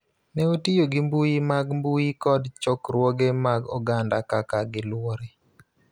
ne otiyo gi mbui mag mbui kod chokruoge mag oganda kaka giluwore,